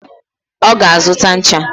Oga azuta ncha